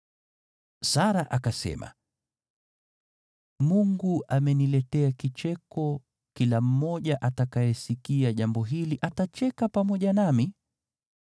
Sara akasema, “Mungu ameniletea kicheko, kila mmoja atakayesikia jambo hili atacheka pamoja nami.”